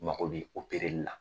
N mago bɛ opɛreli la .